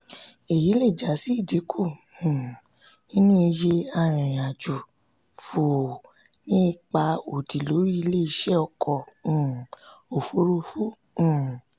èyí lè já sí ìdínkù um nínú iye arìnrìn-àjò fòó ní ipa òdì lórí ilé-iṣẹ́ ọkọ um òfuurufú um